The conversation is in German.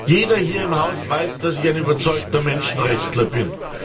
Jeder hier im Haus weiß, dass ich ein überzeugter Menschenrechtler bin.